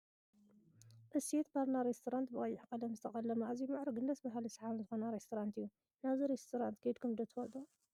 እሴት ባርና ሬስቶራንት ብቀይሕ ቀለም ዝተቀለመ ኣዝዩ ምዕርጉን ደስ ብሃል ስሓብን ዝኮነ ሬስቶራንት እዩ። ናብዚ ሬስቶራንት ከይድኩም ዶ ትፈልጡ ?